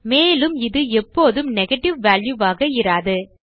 மேலும் இது எப்போதும் நெகேட்டிவ் வால்யூ ஆக இராது